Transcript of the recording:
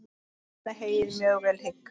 Mæna heyið mjög vel hygg.